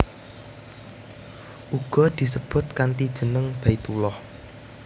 Uga disebut kanthi jeneng Baitullah